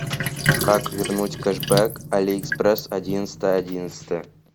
как вернуть кэшбэк алиэкспресс одиннадцатое одиннадцатое